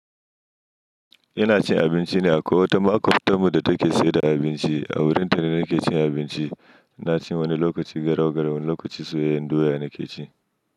Ina cin abinci ne akwai wata makwftanmu da take sayar da abinci a wurin ta ne nake cin abinci. Na ci wani lokaci garau, garau wani lokaci soyayyen doya na ke ci.